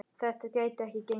Þetta gæti ekki gengið.